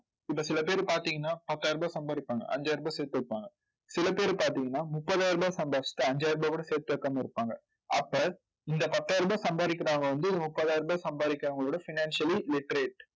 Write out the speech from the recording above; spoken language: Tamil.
இப்ப சில பேர் பார்த்தீங்கன்னா பத்தாயிரம் ரூபாய் சம்பாதிப்பாங்க. அஞ்சாயிரம் ரூபாய் சேர்த்து வைப்பாங்க சில பேர் பாத்தீங்கன்னா முப்பதாயிரம் ரூபாய் சம்பாதிச்சுட்டு அஞ்சாயிரம் ரூபாய் கூட சேர்த்து வைக்காம இருப்பாங்க. அப்ப இந்த பத்தாயிரம் ரூபாய் சம்பாதிக்கிறவங்க வந்து ஒரு முப்பதாயிரம் ரூபாய் சம்பாதிக்கிறவங்களோட financially literate